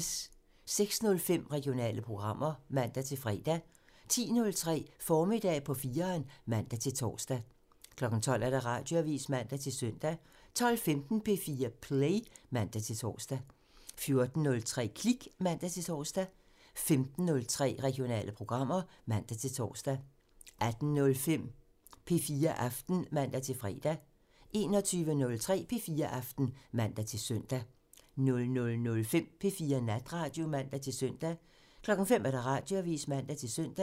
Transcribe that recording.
06:05: Regionale programmer (man-fre) 10:03: Formiddag på 4'eren (man-tor) 12:00: Radioavisen (man-søn) 12:15: P4 Play (man-tor) 14:03: Klik (man-tor) 15:03: Regionale programmer (man-tor) 18:05: P4 Aften (man-fre) 21:03: P4 Aften (man-søn) 00:05: P4 Natradio (man-søn) 05:00: Radioavisen (man-søn)